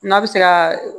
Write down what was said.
N'a bɛ se ka